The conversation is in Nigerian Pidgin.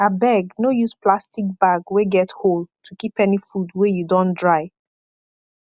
abeg no use plastic bag wey get hole to keep any food wey you don dry